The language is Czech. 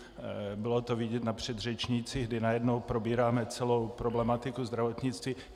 Bylo to vidět na předřečnících, kdy najednou probíráme celou problematiku zdravotnictví.